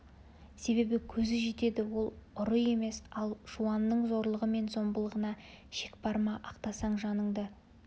себебі көзі жетеді ол ұры емес ал жуанның зорлығы мен зомбылығына шек бар ма ақтасаң жаныңды